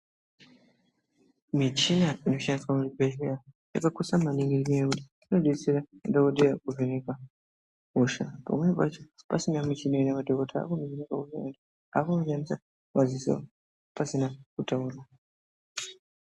Michina dzinoshandiswa muzvibhedhleya zvakakosha maningi ngenyaya yekuti zvinobetsera kuvheneka hosha. Pamweni pacho pasina muchini madhogotera anoone kaanoshandisa madziso pasina kutaura.